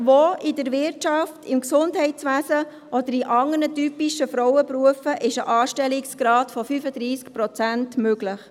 Wo in der Wirtschaft, im Gesundheitswesen oder in anderen typischen Frauenberufen ist ein Anstellungsgrad von 35 Prozent möglich?